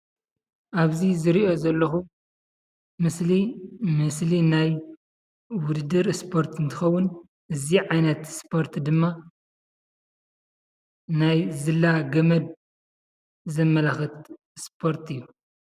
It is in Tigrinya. አብዚ ዝሪኦ ዘለኩ ምስሊ ምስሊ ናይ ውድድር ስፖርት እንትኸውን፤ እዚ ዓይነት ስፖርት ድማ ናይ ዝላ ገመድ ዘመላክት ስፖርት እዩ፡፡